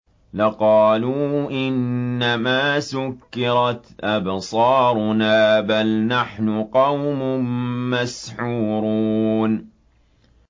لَقَالُوا إِنَّمَا سُكِّرَتْ أَبْصَارُنَا بَلْ نَحْنُ قَوْمٌ مَّسْحُورُونَ